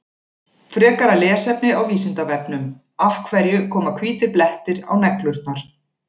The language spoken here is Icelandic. Frekara lesefni á Vísindavefnum: Af hverju koma hvítir blettir á neglurnar?